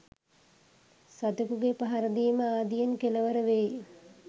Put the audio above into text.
සතෙකුගේ පහර දීම ආදියෙන් කෙළවර වෙයි.